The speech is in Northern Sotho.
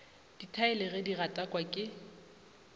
dithaele ge di gatakwa ke